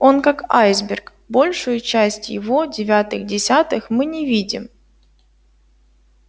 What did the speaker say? он как айсберг большую часть его девятых десятых мы не видим